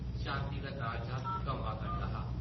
शांति दा कालजा कंबा करदा हा ।